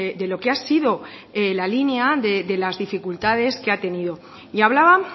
de lo que ha sido la línea de las dificultades que ha tenido y hablaba